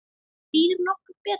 Býður nokkur betur?